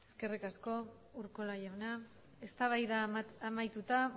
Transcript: eskerrik asko urkola jauna eztabaida amaituta